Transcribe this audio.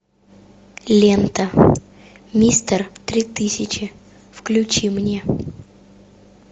лента мистер три тысячи включи мне